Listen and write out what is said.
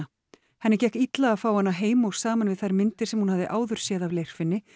henni gekk illa að fá hana heim og saman við þær myndir sem hún hafði áður séð af Leirfinni